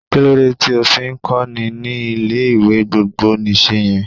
Kílódé tí o fi ń kọ́ni ní ilé ìwé gbogbo nìse yẹn?